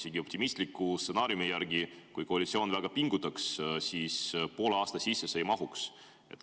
Isegi optimistliku stsenaariumi järgi, kui koalitsioon väga pingutaks, see eelnõu poole aasta sisse ei mahuks.